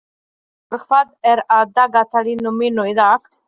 Finnvarður, hvað er á dagatalinu mínu í dag?